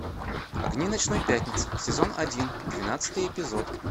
огни ночной пятницы сезон один двенадцатый эпизод